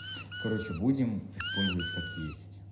короче будем использовать как есть